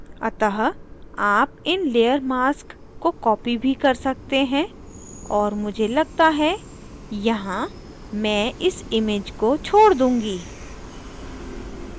अतः आप इन layer मास्क को copy भी कर सकते हैं और मुझे लगता है यहाँ मैं इस image को छोड़ दूंगी